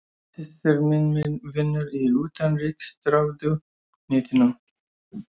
Systir mín vinnur í Utanríkisráðuneytinu.